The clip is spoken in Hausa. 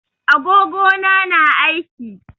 Agogo na na aiki.